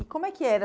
E como é que era?